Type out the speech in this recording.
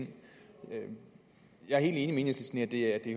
jeg er enhedslisten i at det